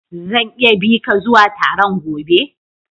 Zan iya bi ka zuwa Taron gobe??